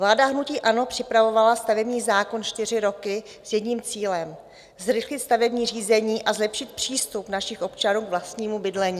Vláda hnutí ANO připravovala stavební zákon čtyři roky s jedním cílem - zrychlit stavební řízení a zlepšit přístup našich občanů k vlastnímu bydlení.